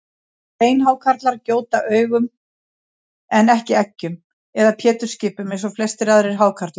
Beinhákarlar gjóta ungum en ekki eggjum eða pétursskipum eins og flestir aðrir hákarlar.